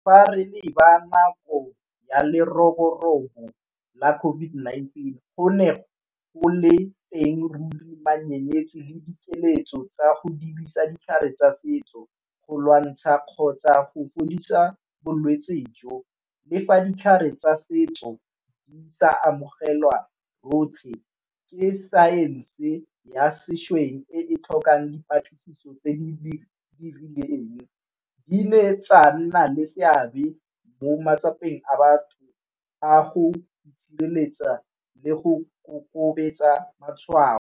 Fa re leba nako ya leroborobo la COVID-19 go ne o le teng ruri menyenyetsi le dikeletso tsa go dirisa ditlhare tsa setso go lwantsha kgotsa go fodisa bolwetsi jo, le fa ditlhare tsa setso di sa amogelwa rotlhe ke science ya sešweng e tlhokang dipatlisiso tse di re di dirileng di ile tsa nna le seabe mo matsapeng a batho a go itshireletsa le go kokobetsa matshwao.